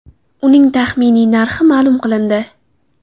Uning taxminiy narxi ma’lum qilindi.